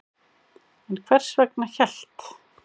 En hvers vegna hélt